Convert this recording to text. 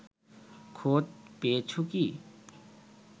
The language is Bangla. খোঁজ পেয়েছ কি